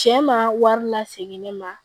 Cɛ ma wari lasegin ne ma